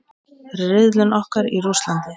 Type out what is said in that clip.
Riðillinn okkar í Rússlandi.